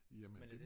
Jamen det